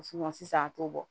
sisan a t'o bɔ